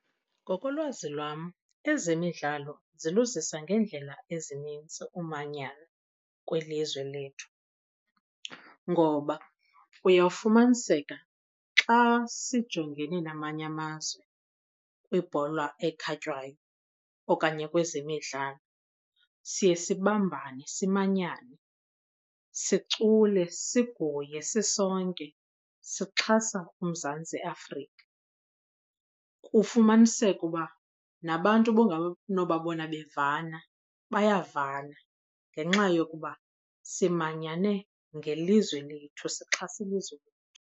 Ngokolwazi lwam, ezemidlalo ziluzisa ngeendlela ezininzi umanyano kwilizwe lethu. Ngoba uyawufumaniseka xa sijongene namanye amazwe kwibhola ekhatywayo okanye kwezemidlalo siye sibambane simanyane, sicule, siguye sisonke sixhasa uMzantsi Afrika. Kufumaniseke uba nabantu ubunganobabona bevana bayavana ngenxa yokuba simanyane ngelizwe lethu, sixhasa ilizwe lethu.